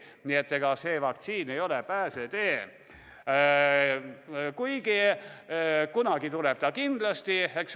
Nii et ega vaktsiin ei ole pääsetee, kuid kunagi tuleb ta kindlasti.